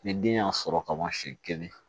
Ni den y'a sɔrɔ kaban siɲɛ kelen